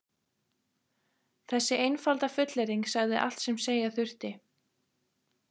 Þessi einfalda fullyrðing sagði allt sem segja þurfti.